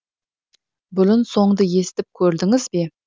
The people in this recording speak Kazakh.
бұрын соңды естіп көрдіңіз бе